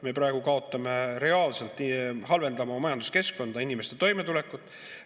Me praegu kaotame reaalselt, halvendame oma majanduskeskkonda, inimeste toimetulekut.